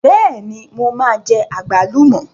Bẹ́ẹ̀ni, mo máa jẹ àgbálùmọ̀